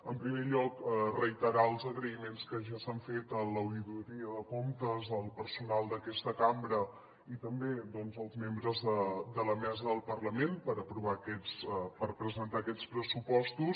en primer lloc reiterar els agraïments que ja s’han fet a l’oïdoria de comptes al personal d’aquesta cambra i també als membres de la mesa del parlament per presentar aquests pressupostos